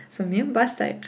сонымен бастайық